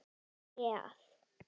Það er auðvelt